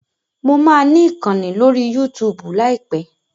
Mo máa ni ìkànnì lórí Yúutùùbù láìpẹ́.